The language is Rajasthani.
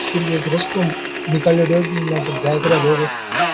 बीच कर एक रस्तो निकल्योड़ो है बी मायना कर जाया करे लोग --